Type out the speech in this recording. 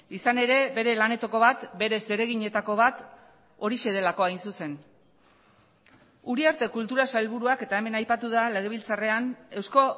izan ere bere lanetako bat bere zereginetako bat horixe delako hain zuzen uriarte kultura sailburuak eta hemen aipatu da legebiltzarrean eusko